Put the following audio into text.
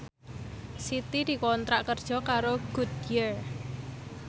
Siti dikontrak kerja karo Goodyear